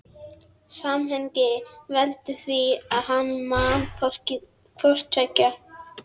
Samhengið veldur því að hann man hvort tveggja.